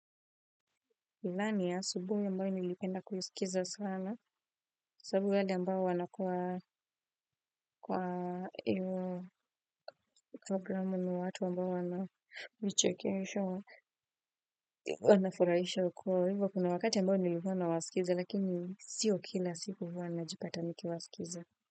Ilani ya asubuhi ambayo nilipenda kuisikiza sana sababu wadi ambayo wanakuwa kwa iyo programu ni watu ambayo ilikuwa inafurahisha kwa hiyo kuna wakati ambao nilikuwa nawasikiza kakini siyo kila siku.